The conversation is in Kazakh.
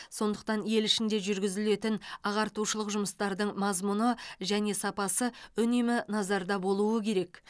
сондықтан ел ішінде жүргізілетін ағартушылық жұмыстардың мазмұны және сапасы үнемі назарда болуы керек